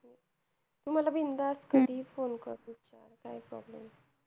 तू मला बिनधास्त कधीही phone कर, काही problem नाही.